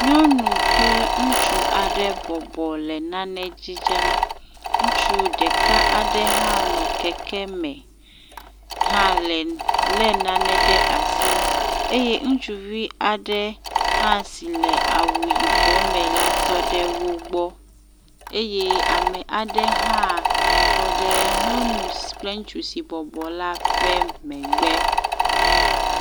Nuɔnu kple ŋutsu aɖe bɔbɔ le nane dzidzem. ŋutsu ɖeka aɖe hã bɔbɔ nɔ anyi ɖe keke me hã le, lé nane ɖe asi eye ŋutsuvi aɖe hã si le awu yibɔ me la tɔ ɖe wo gbɔ eye ame aɖe hã tɔ ɖe nyɔnu kple ŋutsu si bɔbɔ la ƒe megbe.